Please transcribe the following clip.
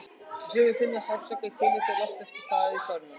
Sumir finna fyrir sársauka í kviðnum þegar loft er til staðar í þörmunum.